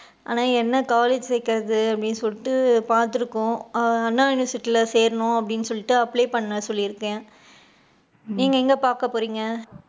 ஆனா, என்ன college சேக்குறது அப்படின்னு சொல்லிட்டு பாத்துருக்கோம் anna university சேக்கணும் அப்படின்னு சொல்லிட்டு apply பண்ண சொல்லி இருக்கேன். நீங்க எங்க பாக்கபோரிங்க?